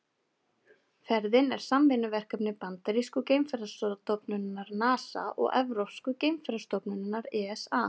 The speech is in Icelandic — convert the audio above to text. Ferðin er samvinnuverkefni bandarísku geimferðastofnunarinnar NASA og evrópsku geimferðastofnunarinnar ESA.